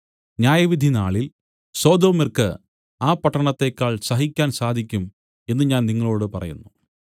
ന്യായവിധി നാളിൽ സൊദോമ്യർക്ക് ആ പട്ടണത്തേക്കാൾ സഹിക്കാൻ സാധിക്കും എന്നു ഞാൻ നിങ്ങളോടു പറയുന്നു